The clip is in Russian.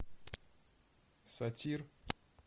сатир